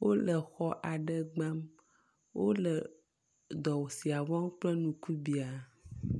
wóle xɔ aɖe gbam wóle dɔ sia wɔm kple ŋkubiã